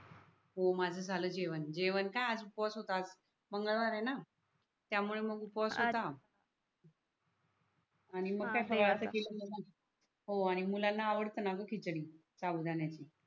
हो माझ झाल जेवण जेवण का आज उपवास होता आज मंगळवार आहे णा त्यामूळे उपवास होता अच्छा आणि तास ही ते थंड झाल्या व हो मुलांना आवडतो णा ग खिचडी साबुदाण्याची